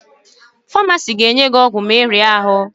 Famasị ga-nye gị ọgwụ ma ịrịa ahụ